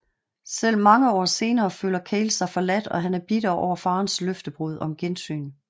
Selv mange år senere føler Cale sig forladt og han er bitter over faderens løftebrud om gensyn